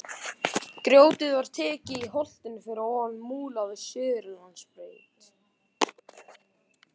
Grjótið var tekið í holtinu fyrir ofan Múla við Suðurlandsbraut.